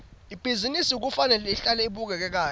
ibhizinisi kufanele ihlale ibukeka kahle